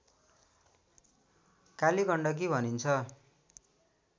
काली गण्डकी भनिन्छ